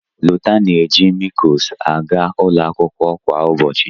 Lọta na-eji mịlkoos aga ụlọ akwụkwọ kwa ụbọchị.